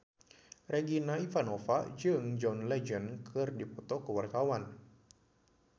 Regina Ivanova jeung John Legend keur dipoto ku wartawan